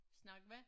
Snakke hvad?